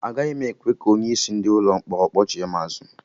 Agaghị m ekwe ka onye isi ndị ụlọ mkpọrọ kpọchigha m azụ